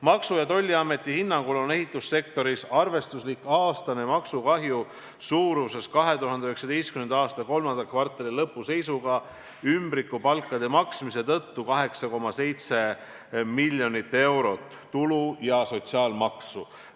" Maksu- ja Tolliameti hinnangul on ehitussektoris arvestuslik aastane maksukahju 2019. aasta kolmanda kvartali lõpu seisuga ümbrikupalkade maksmise tõttu 8,7 miljonit eurot tulu- ja sotsiaalmaksu.